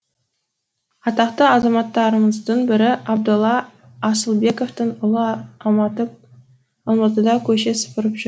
атақты азаматтарымыздың бірі абдолла асылбековтің ұлы алматыда көше сыпырып жүр